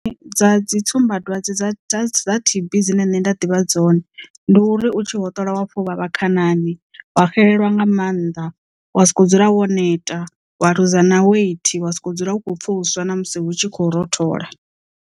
Dza dzi tsumbadwadze dza dza dza T_B dzine nṋe nda ḓivha dzone ndi uri u tshi hoṱola wa pfha u vhavha khanani wa xelelwa nga maanḓa wa sokou dzula wo neta wa luza na weight wa sokou dzula u kho pfha uswa na musi hu tshi khou rothola.